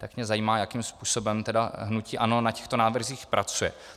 Tak mě zajímá, jakým způsobem hnutí ANO na těchto návrzích pracuje.